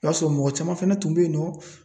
I b'a sɔrɔ mɔgɔ caman fɛnɛ tun be yen nɔ